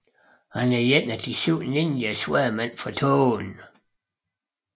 Han er en af De syv ninjasværdmænd fra tågen